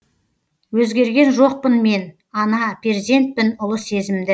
өзгерген жоқпын мен ана перзентпін ұлы сезімді